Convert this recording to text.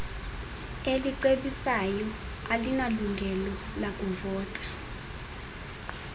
elicebisayo alinalungelo lakuvota